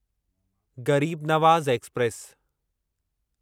Garib Nawaz express